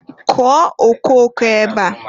Kụọ okooko ebe a!